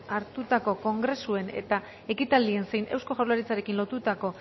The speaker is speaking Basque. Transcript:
hartutako kongresuen eta ekitaldien zein eusko jaurlaritzarekin lotutako